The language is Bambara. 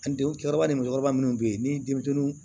cɛkɔrɔba minnu bɛ yen ni denmisɛnninw